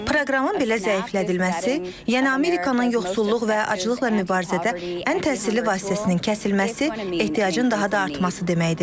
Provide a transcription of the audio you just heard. Proqramın belə zəiflədilməsi, yəni Amerikanın yoxsulluq və aclıqla mübarizədə ən təsirli vasitəsinin kəsilməsi ehtiyacın daha da artması deməkdir.